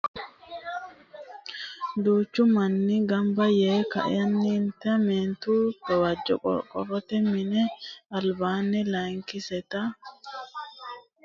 duuchu manni ganba yee ka'eennitinni mittu jawu qorqorote minni alibaani lakisitenita wonbarete wodhe ofolle afamanoha ikanna gamu manni kayiinni doogo sa'e haranni afamanno.